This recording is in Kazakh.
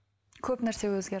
көп нәрсе өзгерді